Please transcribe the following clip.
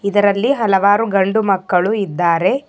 ಇದರಲ್ಲಿ ಹಲವಾರು ಗಂಡು ಮಕ್ಕಳು ಇದ್ದಾರೆ.